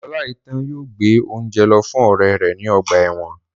Oláitan yóò gbé óúnjẹ lọ fún ọrẹ rẹ ní ọgbà ẹ̀wọ̀n